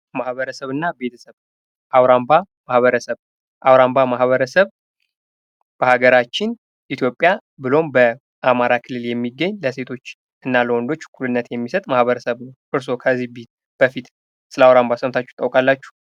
ማህበረሰብ እና ቤተሰብ አዉራምባ ማህበረስብ ፦ አዉራምባ ማህበረስብ በሀገራችን ኢትዮጵያ ብሎም በአማራ ክልል የሚገኝ ለሴቶች እና ለወንዶች እኩልነት የሚሰጥ ማህበረሰብ ነው። እርስዎ ከዚህ በፊት ስለ አውራምባ ስምታችሁ ታቃላችሁ?